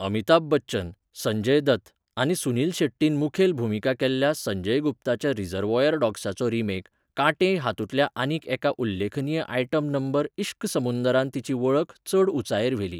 अमिताभ बच्चन, संजय दत्त, आनी सुनील शेट्टीन मुखेल भुमिका केल्ल्या संजय गुप्ताच्या 'रिजर्वयर डॉग्सा'चो रिमेक 'काटे' हातूंतल्या आनीक एका उल्लेखनीय आयटम नंबर 'इश्क समुंदर'न तिची वळख चड उंचायेर व्हेली.